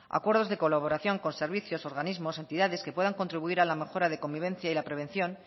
acuerdos de colaboración con servicios organismos entidades que puedan contribuir a la mejora de convivencia y la prevención